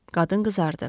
Qadın qızardı.